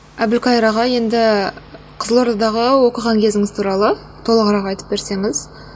әбілқайыр аға енді қызылордадағы оқыған кезіңіз туралы толығырақ айтып берсеңіз